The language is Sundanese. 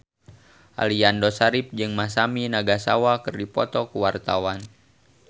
Aliando Syarif jeung Masami Nagasawa keur dipoto ku wartawan